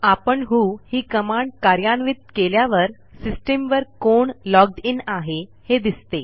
आपण व्हो ही कमांड कार्यान्वित केल्यावर सिस्टीम वर कोण लॉग्ड इन आहे हे दिसते